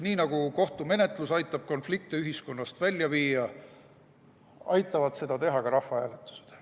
Nii nagu kohtumenetlus aitab konflikte ühiskonnast välja viia, aitavad seda teha ka rahvahääletused.